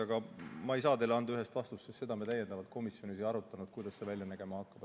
Aga ma ei saa teile anda ühest vastust, sest seda me komisjonis ei arutanud, kuidas see välja nägema hakkab.